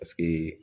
Paseke